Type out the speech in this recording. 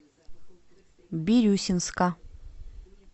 бирюсинска